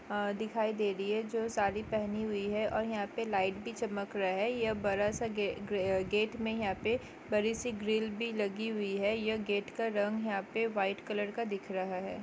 अ दिखाई दे रही है जो सारी पहनी हुई है और यहाँ पे लाइट भी चमक रहा है यह बरा सा ग्र-ग्रे गेट में यहाँ पे बड़ी सी ग्रिल भी लगी हुई है यह गेट का रंग यहाँ पे व्हाइट कलर का दिख रहा है।